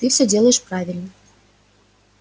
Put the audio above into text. ты все делаешь правильно